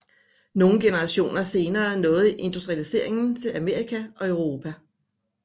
Nogle generationer senere nåede industrialiseringen til Amerika og Europa